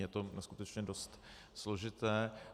Je to skutečně dost složité.